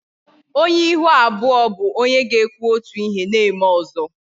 Onye ihu abụọ bụ onye ga-ekwu otu ihe na-eme ọzọ